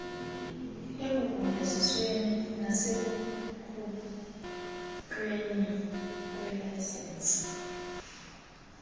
ekugunyazisweni nasekukhutshweni kweelayisensi